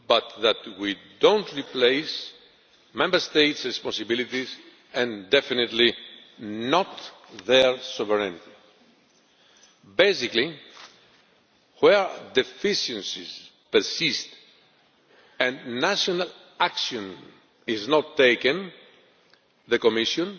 do. But we do not replace Member States' responsibilities and definitely not their sovereignty. Basically, where deficiencies persist and national action is not taken, the Commission